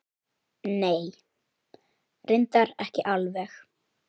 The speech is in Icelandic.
Nei. reyndar ekki alveg.